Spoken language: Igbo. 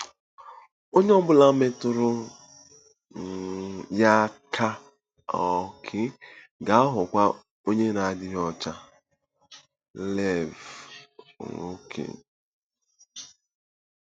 Onye ọ bụla metụrụ um ya aka um ga-aghọkwa onye na-adịghị ọcha. — Lev. um